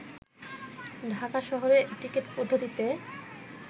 ঢাকা শহরে টিকেট পদ্ধতিতে